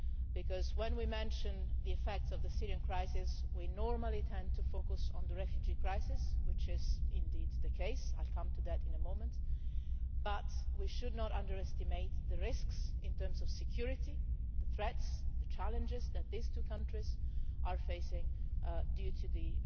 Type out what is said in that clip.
Because when we mention the effects of the Syrian crisis, we tend normally to focus on the refugee crisis which is indeed the case, I will come to that in a moment but we should not underestimate the risks in terms of security, the threats, the challenges that these two countries are facing due to the